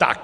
Tak.